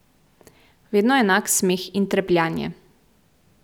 Vedno enak smeh in trepljanje.